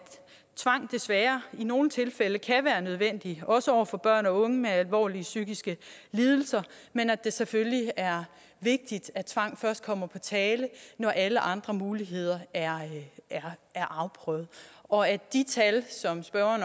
tvang desværre i nogle tilfælde kan være nødvendigt også over for børn og unge med alvorlige psykiske lidelser men at det selvfølgelig er vigtigt at tvang først kommer på tale når alle andre muligheder er afprøvet og at de tal som spørgeren